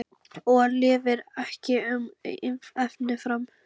Og lifir ekki um efni fram?